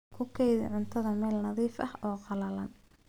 Ku kaydi cuntada meel nadiif ah oo qallalan.